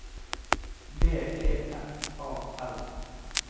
B E F A L